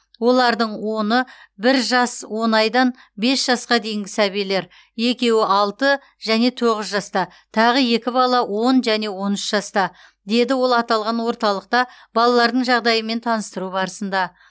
олардың оны бір жас он айдан бес жасқа дейінгі сәбилер екеуі алты және тоғыз жаста тағы екі бала он және он үш жаста деді ол аталған орталықта балалардың жағдайымен таныстыру барысында